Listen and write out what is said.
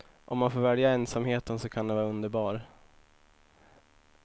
Om man får välja ensamheten så kan den vara underbar.